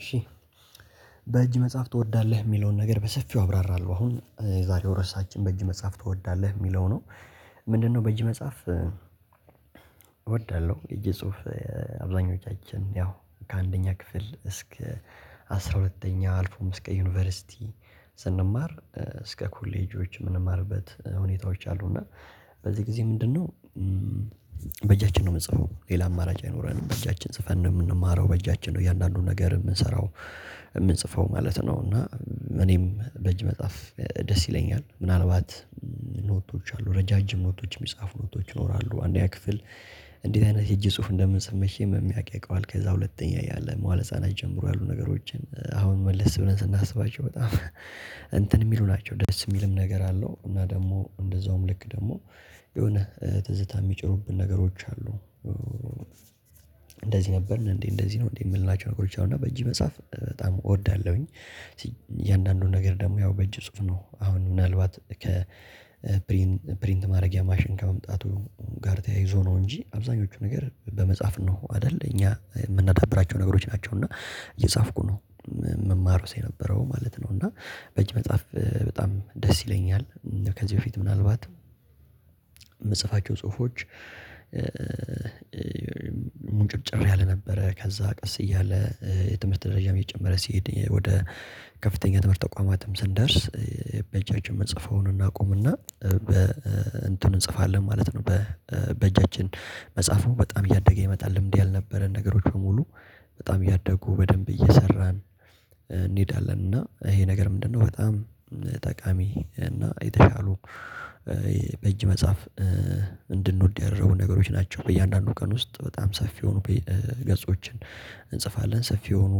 እሺ በእጅ መጽሐፍ ትወዳለህ የሚለውን ነገር በሰፊው አብራራለሁ አሁን የዛሬው ርዕሳችን በእጅ መጽሐፍ ትወዳለህ የሚለው ነው። ምንድነው በእጅ መጽሐፍ? እወዳለሁ እጅ ጽሁፍ። አብዛኞቻችን ያው ከአንደኛ ክፍል እስከ አስራ ሁለተኛ አልፎም እስከ ዩኒቨርሲቲ ስንማር እስከ ኮሌጆች የምንማርበት ሁኔታዎች አሉ። እና በዚህ ጊዜ ምንድነው? በእጃችን ነው የምንጽፈው ሌላ አማራጭ አይኖረንም በእጃችን ጽፈን የምንማረው በእጃችን ነው እያንዳንዱን ነገር የምንሰራው የምንጽፈው ማለት ነው። እና እኔም በእጅ መጽሐፍ ደስ ይለኛል። ምናልባት ኖቶች አሉ ረዣዥም ኖቶች የሚጻፉ ኖቶች ይኖራሉ አንደኛ ክፍል። እንዴት አይነት የእጅ ጽሁፍ እንደምንጽፍ መቼም የሚያውቅ ያውቃል። ከዛ ሁለተኛ እያለን መዋለ ህፃናት ጀምሮ ያሉ ነገሮችን አሁን መለስ ብለን ስናስባቸው በጣም እንትን የሚሉ ናቸው። ደስ የሚልም ነገር አለው። እና ደግሞ እንደዛውም ልክ ደግሞ የሆነ ትዝታ የሚጭሩብን ነገሮች አሉ። እንደዚህ ነበርን እንዴ እንደዚህ ነው እንዴ የምንላቸው ነገሮች አሉ። እና በእጅህ መጽሐፍ በጣም እወዳለሁኝ እያንዳንዱን ነገር ደግሞ ያው በእጅ ጽሁፍ ነው። አሁን ምናልባት ከፕሪንት ማድረጊያ ማሽን ከመምጣቱ ጋር ተያይዞ ነው እንጂ አብዛኞቹ ነገር በመጻፍ ነው አይደል እኛ የምናዳብራቸው ነገሮች ናቸው። እና እየጻፍኩ ነው የምማረው ሰው የነበረው ማለት ነው። እና በእጅ መጽሐፍ በጣም ደስ ይለኛል። ከዚህ በፊት ምናልባት የምጽፋቸው ጽሁፎች ሙንጭርጭር ያለ ነበረ። ከዛ ቀስ እያለ የትምህርት ደረጃም እየጨመረ ሲሄድ ወደ ከፍተኛ ትምህርት ተቋማትም ስንደርስ በእጃችን የምንጽፈውን እናቆምና በ እንትን እንጽፋለን ማለት ነው። በእጃችን መጽሐፉ በጣም እያደገ ይመጣል ልምድ ያልነበረን ነገሮች በሙሉ በጣም እያደጉ በደንብ እየሰራን እንሄዳለን። እና ይሄ ነገር ምንድነው? በጣም ጠቃሚ እና የተሻሉ በእጅ መጽሐፍ እንድንወድ ያደረጉ ነገሮች ናቸው። በእያንዳንዱ ቀን ውስጥ በጣም ሰፊ የሆኑ ፔ ገጾችን እንጽፋለን። ሰፊ የሆኑ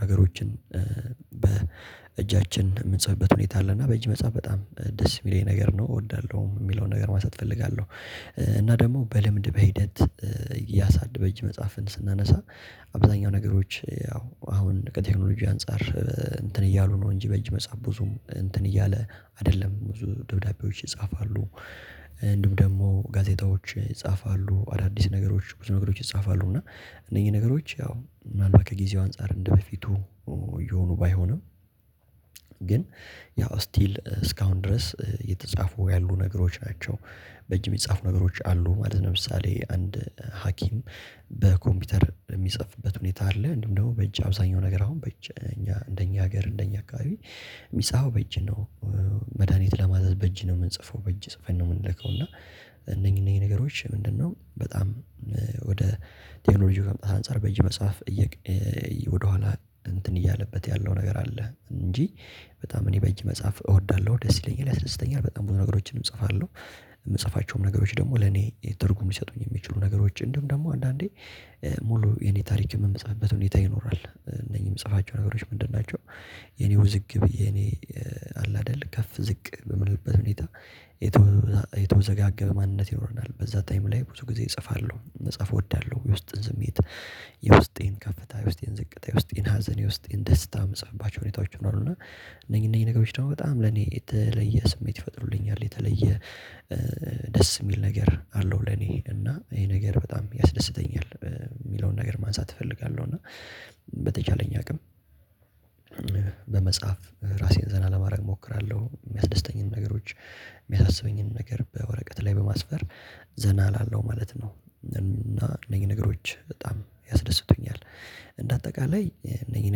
ነገሮችን በእጃችን የምንጽፍበት ሁኔታ አለ። እና በእጅ መጽሐፍ በጣም ደስ የሚለኝ ነገር ነው። እወዳለሁ የሚለውን ነገር ማንሳት እፈልጋለሁ። እና ደግሞ በልምድ በሂደት እያሳድ በእጅ መጽሐፍን ስናነሳ አብዛኛው ነገሮች ያው አሁን ከቴክኖሎጂ አንፃር እንትን እያሉ ነው እንጂ በእጅ መጻፍ ብዙም እንትን እያለ አይደለም ብዙ ደብዳቤዎች ይጻፋሉ። እንዲሁም ደግሞ ጋዜጣዎች ይጻፋሉ አዳዲስ ነገሮች ብዙ ነገሮች ይጻፋሉ። እና እነኚህ ነገሮች ያው ምን አልባት ከጊዜው አንፃር እንደበፊቱ እየሆኑ ባይሆንም ግን ያው ስቲል እስካሁን ድረስ እየተጻፉ ያሉ ነገሮች ናቸው። በጅም የሚጻፉ ነገሮች አሉ ማለት ለምሳሌ አንድ ሀኪም በኮምፒውተር የሚጽፍበት ሁኔታ አለ። እንዲሁም ደግሞ በእጅ አብዛኛው ነገር አሁን በእጅ እኛ እንደኛ ሀገር እንደኛ አካባቢ የሚጻፈው በእጅ ነው። መድሃኒት ለማዘዝ በእጅ ነው የምንጽፈው በእጅ ጽፈን ነው የምንልከው እና እነኚህ እነኚህ ነገሮች ምንድነው? በጣም ወደ ቴክኞሎጂው ከምጣት አንፃር በእጅ መጽሐፍ እየቅ ወደኋላ እንትን እያለበት ያለው ነገር አለ። እንጂ በጣም እኔ በእጅ መጽሐፍ እወዳለሁ ደስ ይለኛል ያስደስተኛል በጣም ብዙ ነገሮችንም እጽፋለሁ። የምጽፋቸውም ነገሮች ደግሞ ለኔ ትርጉም ሊሰጡኝ የሚችሉ ነገሮች እንዲሁም ደግሞ አንዳንዴ ሙሉ የኔ ታሪክም የምጽፍበት ሁኔታ ይኖራል። እነኚህ ምጽፋቸው ነገሮች ምንድን ናቸው? የኔ ውዝግብ የኔ አለ አይደል ከፍ ዝቅ በምልበት ሁኔታ የተወ የተወዘጋገበ ማንነት ይኖረናል። በዛ ታይም ላይ ብዙ ጊዜ እጽፋለሁ መጽሐፍ እወዳለሁ የውስጥን ስሜት የውስጤን ከፍታ የውስጤን ዝቅታ የውስጤን ሀዘን የውስጤን ደስታ ምጽፍባቸው ሁኔታዎች ይኖራሉ። እና እነኚህ እነኚህ ነገሮች ደግሞ በጣም ለኔ የተለየ ስሜት ይፈጥሩልኛል። የተለየ ደስ የሚል ነገር አለው። ለኔ እና ይሄ ነገር በጣም ያስደስተኛል የሚለውን ነገር ማንሳት እፈልጋለሁ። እና በተቻለኝ አቅም በመጽሐፍ ራሴን ዘና ለማድረግ እሞክራለሁ የሚያስደስተኝንም ነገሮች የሚያሳስበኝንም ነገር በወረቀት ላይ በማስፈር ዘና እላለው ማለት ነው። እና እነኚህ ነገሮች በጣም ያስደስቱኛል። እንደ አጠቃላይ እነኚህ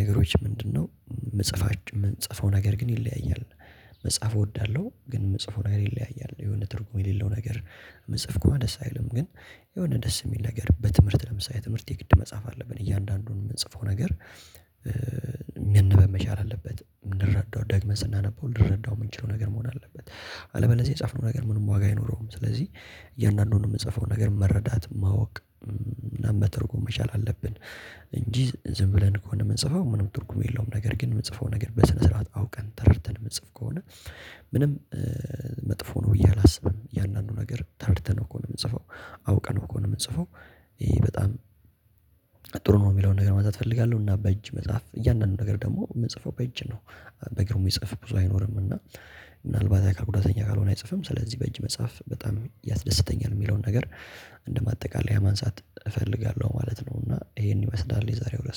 ነገሮች ምንድነው? የምጽፋች የምጽፈው ነገር ግን ይለያያል። መጽሐፍ እወዳለሁ ግን የምጽፈው ነገር ይለያያል። የሆነ ትርጉም የሌለው ነገር የምጽፍ ከሆነ ደስ አይልም። ግን የሆነ ደስ የሚል ነገር በትምህርት ለምሳሌ ትምህርት የግድ መጽሐፍ አለብን እያንዳንዱን የምንጽፈው ነገር። በመቻል አለበት ልንረዳው ደግመን ስናነበው ልንረዳው የምንችለው ነገር መሆን አለበት። አለበለዚህ የጻፍነው ነገር ምንም ዋጋ አይኖረውም። ስለዚህ እያንዳንዱን የምንጽፈው ነገር መረዳት ማወቅ ምናምን መተርጎም መቻል አለብን። እንጂ ዝም ብለን ከሆነ የምንጽፈው ምንም ትርጉም የለውም። ነገር ግን የምጽፈው ነገር በስነ ስርዓት አውቀን ተረድተን የምትጽፍ ከሆነ ምንም መጥፎ ነው ብዬ አላስብም። እያንዳንዱ ነገር ተረድተነው ከሆነ የምንጽፈው አውቀነው ከሆነ የምንጽፈው ይሄ በጣም ጥሩ ነው የሚለውን ነገር ማንሳት እፈልጋለሁ። እና በእጅ መጽሐፍ እያንዳንዱ ነገር ደግሞ የምጽፈው በእጅ ነው። በእግር የሚጽፍ ብዙ አይኖርም። እና ምናልባት አካል ጉዳተኛ ካልሆነ አይጽፍም። ስለዚህ በእጅ መጽሐፍ በጣም ያስደስተኛል። የሚለውን ነገር እንደማጠቃለያ ማንሳት እፈልጋለሁ ማለት ነው። እና ይሄን ይመስላል የዛሬው ርዕስ